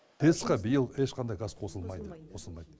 тэц қа биыл ешқандай газ қосылмайды